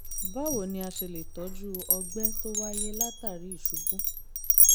báwo ni a ṣe lè tọ́jú ọgbẹ́ tó wáyé látàri ìṣubú?